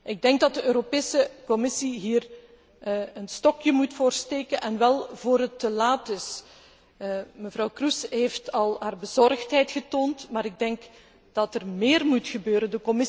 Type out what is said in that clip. Ik denk dat de Europese Commissie hier een stokje voor moet steken en wel voor het te laat is. Mevrouw Kroes heeft haar bezorgdheid al getoond, maar ik denk dat er meer moet gebeuren.